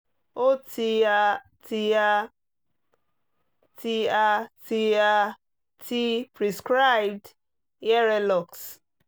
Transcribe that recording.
o ti a ti a ti a ti a ti prescribed earelox